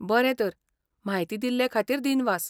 बरें तर, म्हायती दिल्ले खातीर दिनवास.